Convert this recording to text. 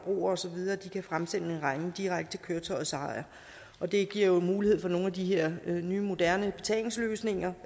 osv kan fremsende en regning direkte til køretøjets ejer det giver jo mulighed for nogle af de her nye moderne betalingsløsninger